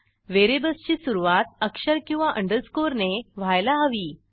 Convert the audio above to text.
व्हेरिएबल्सची सुरूवात अक्षर किंवा अंडरस्कोरने व्हायला हवी